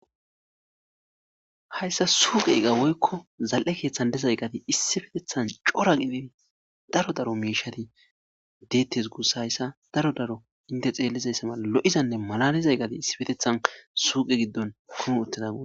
hayssa suuqe eqa woykko zal7e keeththan dezayqati issi fetethan cora qinii daro daro miishati deettes guusa hayssa daro daro inte xeellizayssa mala lo7izanne malalizay qati issi petethan suuqe giddon kumu utteza gu